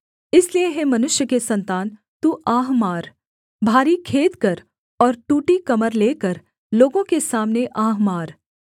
इसलिए हे मनुष्य के सन्तान तू आह मार भारी खेद कर और टूटी कमर लेकर लोगों के सामने आह मार